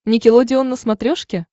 никелодеон на смотрешке